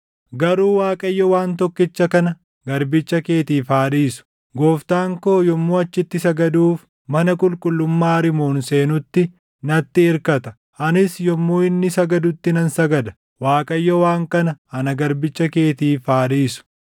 Garuu Waaqayyo waan tokkicha kana garbicha keetiif haa dhiisu: Gooftaan koo yommuu achitti sagaduuf mana qulqullummaa Rimoon seenutti natti irkata; anis yommuu inni sagadutti nan sagada; Waaqayyo waan kana ana garbicha keetiif haa dhiisu.”